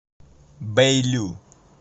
бэйлю